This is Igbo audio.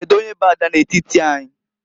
Kedu onye bụ ada n'etiti anyị?